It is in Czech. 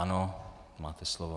Ano, máte slovo.